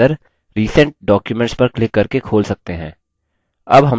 अब हम library database में हैं